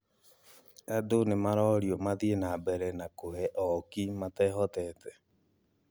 Andũ nĩmarorio mathiĩ nambere na kũhe ooki matehotete